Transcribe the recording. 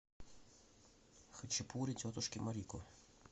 хачапури тетушки марико